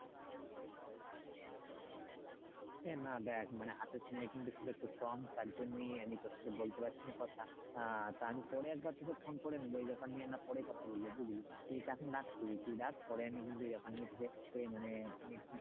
এ না দেখ মানে হাতে সময় কিন্তু খুব একটু কম তার জন্যেই আমি তোর সাথে বলতে পারছি না কথা আহ তা আমি পরে একবার তোকে ফোন করে নেবো এই বেপার নিয়ে আমরা পরে কথা বলবো বুঝলি তুই তো এখন তুই রাখ পরে আমি কিন্তু এই বেপার নিয়ে তোকে মানে,